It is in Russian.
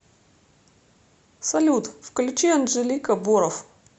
салют включи анжелика бороф